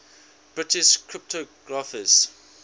british cryptographers